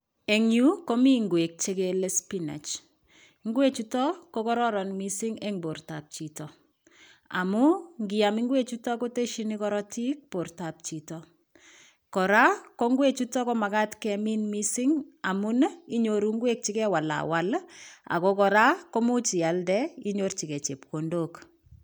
En yuu, komi ng'wek chekele spinach . Ngwechuto ko kororon en bortab chito amun, ngiam ingwechuto kotesyin korotik bortab chito. Kora, ko ngwechuto komagat kemin mising. Amun, inyoru ng'wek chekewalawal, ako kora komuch ialde, inyorchikei chepkondok.